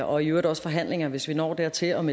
og i øvrigt også forhandlinger hvis vi når dertil om